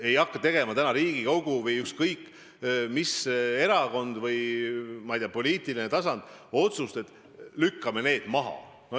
Ei hakka täna Riigikogu või ükskõik mis erakond või poliitiline tasand langetama otsust, et lükkame need asjad menetlusest välja.